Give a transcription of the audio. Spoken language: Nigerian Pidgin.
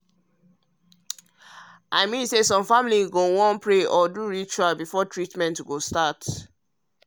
i mean um say some families go wan pray or do ritual before treatment start.